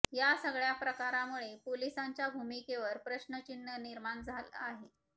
या सगळ्या प्रकारामुळे पोलिसांच्या भूमिकेवर प्रशचिन्ह निर्माण झालं आहे